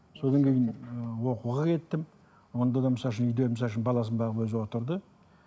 содан кейін ы оқуға кеттім онда да үйде баласын бағып өзі отырды